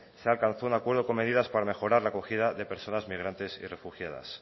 se alcanzó un acuerdo con medidas para mejorar la acogida de personas migrantes y refugiadas